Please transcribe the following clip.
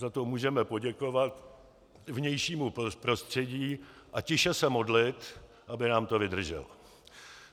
Za to můžeme poděkovat vnějšímu prostředí a tiše se modlit, aby nám to vydrželo.